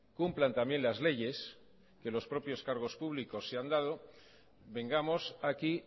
cumplan también las leyes que los propios cargos públicos se han dado vengamos aquí